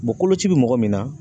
koloci bɛ mɔgɔ min na